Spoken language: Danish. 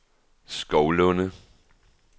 Skovlunde